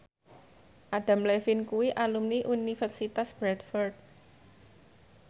Adam Levine kuwi alumni Universitas Bradford